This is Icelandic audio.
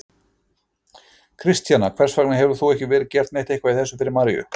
Kristjana: Hvers vegna hefur þá ekki verið gert eitthvað í þessu fyrr María?